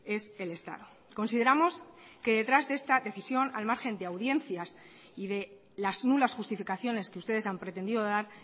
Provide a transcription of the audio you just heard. es el estado consideramos que detrás de esta decisión al margen de audiencias y de las nulas justificaciones que ustedes han pretendido dar